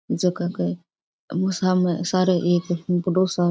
झक के उन सामने सरो एक बड़ो सा --